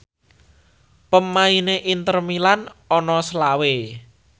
pemaine Inter Milan ana selawe